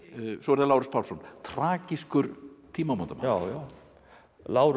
svo er það Lárus Pálsson Tragískur tímamótamaður já já Lárus